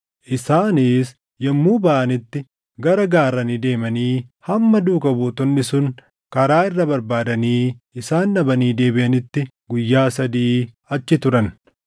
Isaanis yommuu baʼanitti gara gaarranii deemanii hamma duukaa buutonni sun karaa irra barbaadanii isaan dhabanii deebiʼanitti guyyaa sadii achi turan.